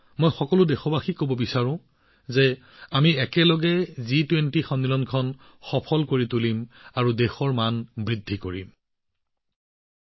সকলো দেশবাসীক জনাব বিচাৰিছো যে আহক আমি সকলোৱে মিলি জি২০ সন্মিলন সফল কৰি দেশৰ গৌৰৱ বৃদ্ধি কৰোঁ